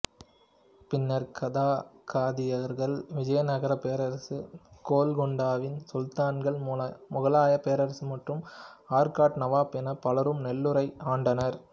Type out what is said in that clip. பின்னர் காகதியர்கள் விஜயநகர பேரரசு கோல்கொண்டாவின் சுல்தான்கள் முகலாய பேரரசு மற்றும் ஆற்காட்டு நவாப் என பலரும் நெல்லூரை ஆண்டனர்